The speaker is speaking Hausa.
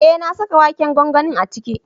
Eh na saka waken gwangwanin a ciki.